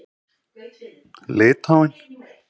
Litháen